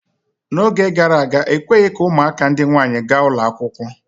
N'oge gara aga, ekweghị ka ụmụaka ndị nwaanyị gaa ụlọ akwụkwọ.